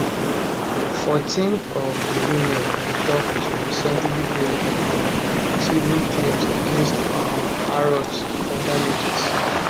fourteen of di women we tok to recently bring um civil claims against um harrods for damages